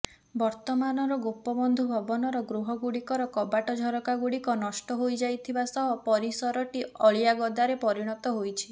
ବର୍ତ୍ତମାନର ଗୋପବନ୍ଧୁ ଭବନର ଗୃହଗୁଡିକର କବାଟଝରକାଗୁଡିକ ନଷ୍ଟ ହୋଇଯାଇଥିବା ସହ ପରିସରଟି ଅଳିଆଗଦାରେ ପରିଣତ ହୋଇଛି